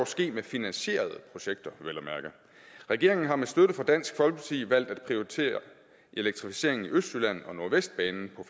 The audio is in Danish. ske ved finansierede projekter regeringen har med støtte fra dansk folkeparti valgt at prioritere elektrificeringen i østjylland og af nordvestbanen